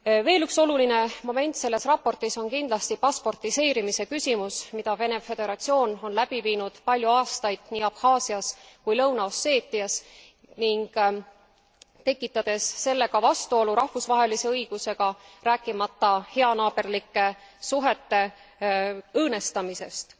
Veel üks oluline moment selles raportis on kindlasti pasportiseerimise küsimus, mida Vene Föderatsioon on läbi viinud palju aastaid nii Abhaasias kui ka Lõuna Osseetias, ning tekitades sellega vastuolu rahvusvahelise õigusega, rääkimata heanaaberlike suhete õõnestamisest.